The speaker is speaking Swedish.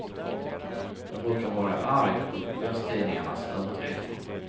Jag brukar vara arg på kvällstidningarnas överdrifter.